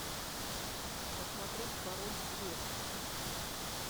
посмотреть король лев